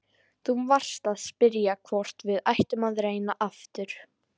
Þú varst að spyrja hvort við ættum að reyna aftur.